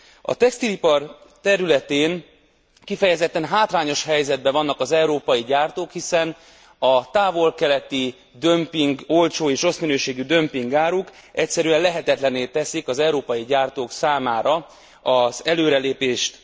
A textilipar területén kifejezetten hátrányos helyzetben vannak az európai gyártók, hiszen a távol keleti dömping, az olcsó és rossz minőségű dömpingáruk egyszerűen lehetetlenné teszik az európai gyártók számára az előrelépést.